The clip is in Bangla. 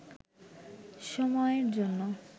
সময়ের জন্য